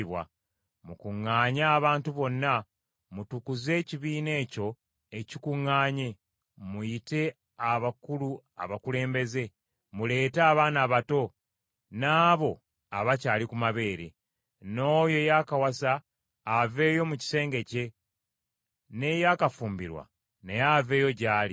Mukuŋŋaanye abantu bonna. Mutukuze ekibiina ekyo ekikuŋŋaanye. Muyite abakulu abakulembeze. Muleete abaana abato n’abo abakyali ku mabeere. N’oyo eyakawasa aveeyo mu kisenge kye, n’eyakafumbirwa naye aveeyo gy’ali.